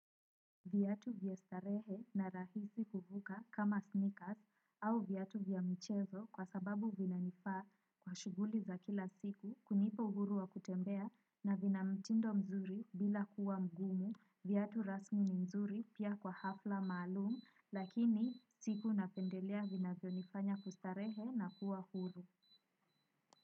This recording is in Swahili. Viatu vya starehe na rahisi kuvuka kama sneakers au viatu vya michezo kwa sababu vina nifaa kwa shuguli za kila siku kunipa uhuru wa kutembea na vina mtindo mzuri bila kuwa mgumu, viatu rasmi ni mzuri pia kwa hafla maalumu lakini siku napendelea vinavyo nifanya kustarehe na kuwa huru.